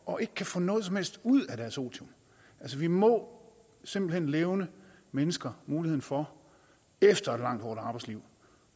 og ikke kan få noget som helst ud af deres otium vi må simpelt hen levne mennesker muligheden for efter et langt hårdt arbejdsliv